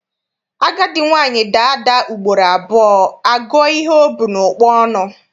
Agadi nwaanyị daa ada ugboro abụọ, a gụọ ihe o bu n'ụkpa ọnụ.